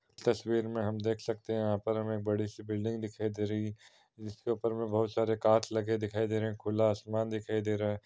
तस्वीर में हम देख सकते हैं यहाँ पर हमें बड़ी सी बिल्डिंग दिखाई दे रहीं है जिसके ऊपर में बोहोत सारे कांच लगे दिखाई दे रहे हैं खुला आसमान दिखाई दे रहा है।